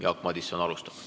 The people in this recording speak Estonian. Jaak Madison alustab.